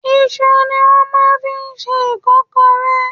Isu ni wọ́n máa ń fi ń ṣe ìkọ́kọrẹ́.